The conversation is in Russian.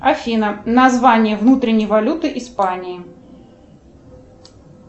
афина название внутренней валюты испании